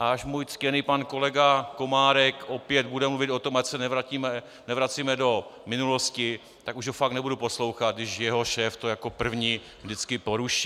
A až můj ctěný pan kolega Komárek opět bude mluvit o tom, ať se nevracíme do minulosti, tak už ho fakt nebudu poslouchat, když jeho šéf to jako první vždycky poruší.